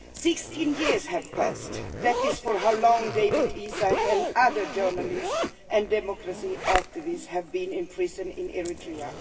Sixteen years have passed that is how long Dawit Isaak and other journalists and democracy activists have been imprisoned in Eritrea.